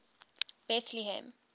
betlehem